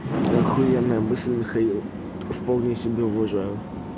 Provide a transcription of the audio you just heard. ахуенная мысль михаил вполне себе уважаю